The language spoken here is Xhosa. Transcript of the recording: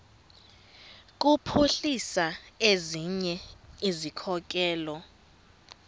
kuphuhlisa ezinye izikhokelo